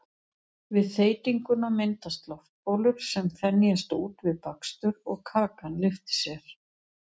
Við þeytinguna myndast loftbólur sem þenjast út við bakstur og kakan lyftir sér.